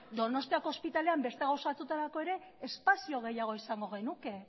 donostiako ospitalean beste gauza batzuetarako ere espazio gehiago izango genuke